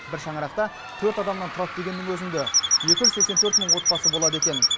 бір шаңырақта төрт адамнан тұрады дегеннің өзінде екі жүз сексен төрт мың отбасы болады екен